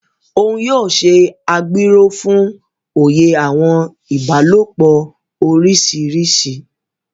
Òún yóò ṣe agbéró fún òye àwọn ìbálòpọ̀ oríṣiríṣi.